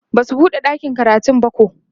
Basu buɗe ɗakin karatun bako